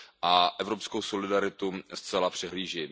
a evropskou solidaritu zcela přehlíží.